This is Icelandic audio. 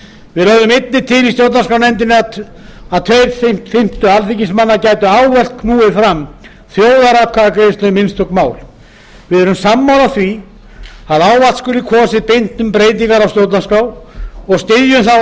við lögðum einnig til í stjórnarskrárnefnd að tveir fimmtu alþingismanna gætu ávallt knúið fram þjóðaratkvæði um einstök mál við erum sammála því að ávallt skuli kosið beint um breytingar á stjórnarskrá og styðjum þá